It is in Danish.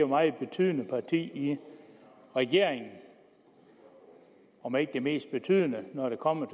meget betydende parti i regeringen om ikke det mest betydende når det kommer